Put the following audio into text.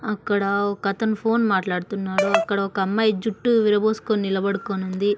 అక్కడ ఒకతను ఫోన్ మాట్లాడుతున్నారు అక్కడ ఒక అమ్మాయి జుట్టు విరబోసుకొని నిలబడుకొని ఉంది.